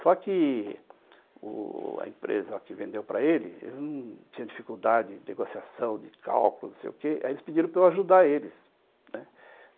Só que u a empresa que vendeu para ele não tinha dificuldade de negociação, de cálculo, não sei o quê, aí eles pediram para eu ajudar eles, né.